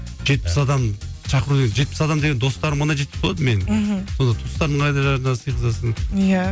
жетпіс адам шақыру деген жетпіс адам деген достарым ғана жетпіс болады менің мхм сонда туыстарыңды қайда сыйғызасың иә